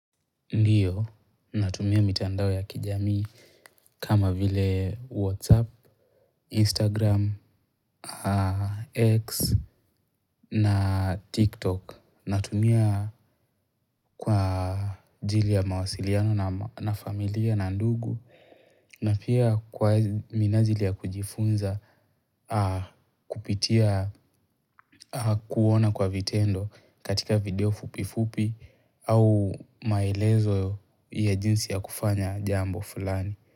Ndiyo natumia mitandao ya kijamii kama vile whatsapp, instagram, x na tiktok natumia kwa ajili ya mawasiliano na familia na ndugu na pia kwa minajili ya kujifunza kupitia kuona kwa vitendo katika video fupi fupi au maelezo ya jinsi ya kufanya jambo fulani.